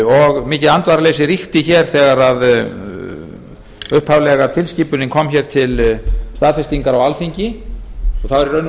og mikið andvaraleysi ríkti hér þegar upphaflega tilskipunin kom hér til staðfestingar á alþingi það var í